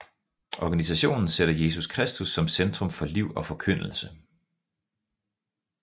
Organisationen sætter Jesus Kristus som centrum for liv og forkyndelse